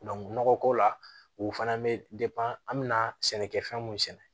nɔgɔko la o fana bɛ an bɛna sɛnɛkɛfɛn mun sɛnɛ